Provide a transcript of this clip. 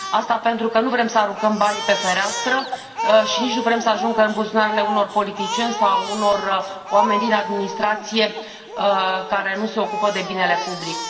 Asta pentru că nu vrem să aruncăm banii pe fereastră și nici nu vrem să ajungă în buzunarele unor politicieni sau ale unor oameni din administrație, care nu se ocupă de binele public.